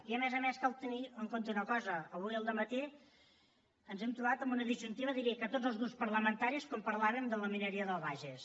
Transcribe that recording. i a més a més cal tenir en compte una cosa avui al dematí ens hem trobat en una disjuntiva jo diria que tots els grups parlamentaris quan parlàvem de la mineria del bages